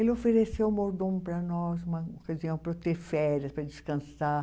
Ele ofereceu o mordomo para nós, uma para eu ter férias, para descansar.